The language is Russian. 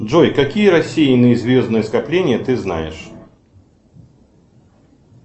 джой какие рассеянные звездные скопления ты знаешь